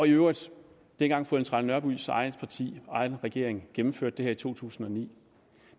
øvrigt dengang fru ellen trane nørbys eget parti og egen regering gennemførte det her i to tusind og ni